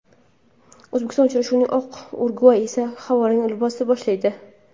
O‘zbekiston uchrashuvni oq, Urugvay esa havorang libosda boshlaydi.